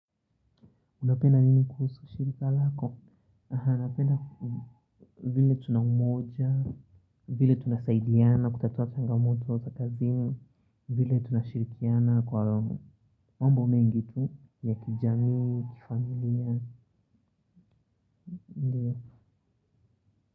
Unapenda nini kuhusu shirika lako? Napenda vile tuna umoja, vile tunasaidiana, kutatua changamoto za kazini, vile tunashirikiana kwa mambo mengi tu ya kijamii, kifamilia.